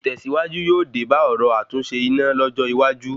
Ìtẹ̀sìwájú yóò dé bá ọ̀rọ̀ àtúnṣe iná lọ́jọ́ iwájú